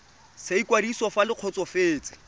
sa ikwadiso fa le kgotsofetse